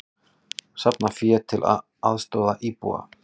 Safna fé til að aðstoða íbúa